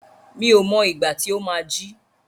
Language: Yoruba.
Mi ò mọ ìgbà tí ó má á jí.